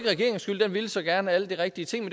regeringens skyld den ville så gerne alle de rigtige ting